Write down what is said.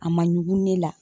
A ma ɲugun ne la.